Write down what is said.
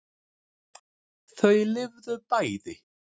Þau lifðu bæði.